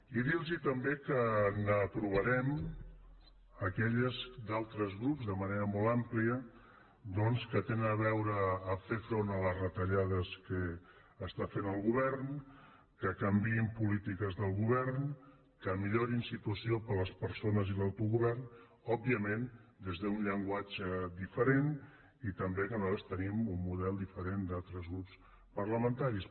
i dir los també que aprovarem aquelles d’altres grups de manera molt àmplia que tinguin a veure amb fer front a les retallades que fa el govern que canviïn polítiques del govern que millorin la situació per a les persones i l’autogovern òbviament des d’un llenguatge diferent també nosaltres tenim un model diferent del d’altres grups parlamentaris